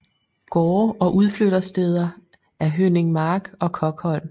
Gårde og udflyttersteder er Hønningmark og Kokholm